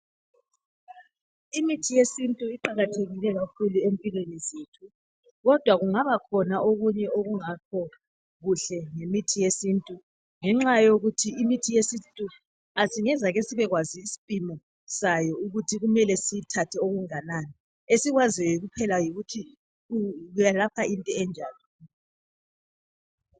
Imithi yesintu iqakathekile kakhulu empilweni zethu kodwa kungaba khona okunye okungakho kuhle ngemithi yesintu ngenxa yokuthi imithi yesintu singazake sibekwazi isimpimo sayo ukuthi kumele siwuthathe ongakanani esikwaziyo kuphela yikuthi kwelapha into enjani.